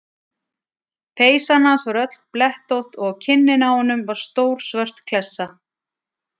Peysan hans var öll blettótt og á kinninni á honum var stór svört klessa.